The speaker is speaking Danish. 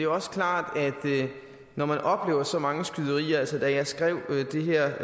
også klart at når man oplever så mange skyderier altså da jeg skrev det her